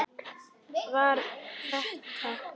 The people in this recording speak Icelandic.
Var þetta.?